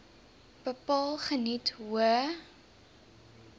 bepaal geniet hoë